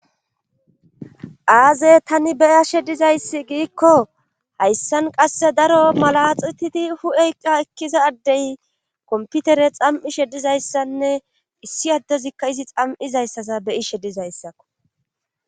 Aze tani beyashe dizayssi giikko hayssan qasse daro mala xititi hu'eyka ekkiza addey komputere xam'ishe dizayssanne issi addezikka izi xam7izayssasa beyishe dizayssakko.